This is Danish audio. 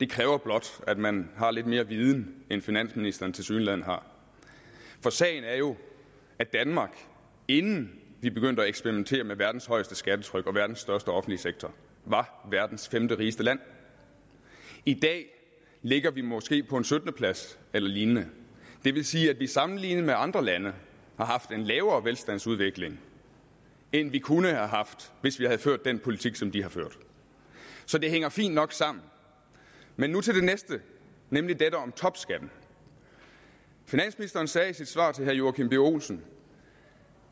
kræver blot at man har lidt mere viden end finansministeren tilsyneladende har for sagen er jo at danmark inden vi begyndte at eksperimentere med verdens højeste skattetryk og verdens største offentlige sektor var verdens femterigeste land i dag ligger vi måske på en syttende plads eller lignende det vil sige at vi sammenlignet med andre lande har haft en lavere velstandsudvikling end vi kunne have haft hvis vi havde ført den politik som de har ført så det hænger fint nok sammen men nu til det næste nemlig dette om topskatten finansministeren sagde i sit svar til herre joachim b olsen